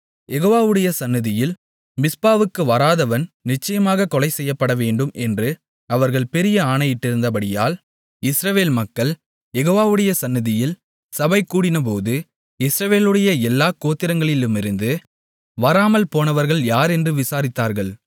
யெகோவாவுடைய சந்நிதியில் மிஸ்பாவுக்கு வராதவன் நிச்சயமாகக் கொலைசெய்யப்படவேண்டும் என்று அவர்கள் பெரிய ஆணையிட்டிருந்தபடியால் இஸ்ரவேல் மக்கள் யெகோவாவுடைய சந்நிதியில் சபைகூடினபோது இஸ்ரவேலுடைய எல்லாக் கோத்திரங்களிலுமிருந்து வராமல்போனவர்கள் யார் என்று விசாரித்தார்கள்